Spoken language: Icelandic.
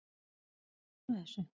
Erum við að klúðra þessu?